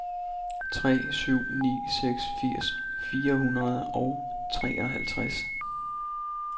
tre syv ni seks firs fire hundrede og treoghalvtreds